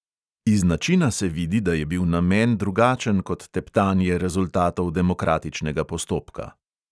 Iz načina se vidi, da je bil namen drugačen kot teptanje rezultatov demokratičnega postopka.